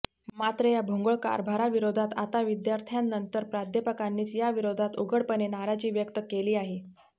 मात्र या भोंगळ कारभाराविरोधात आता विद्यार्थ्यांनंतर प्राध्यापकांनीच याविरोधात उघडपणे नाराजी व्यक्त केली आहे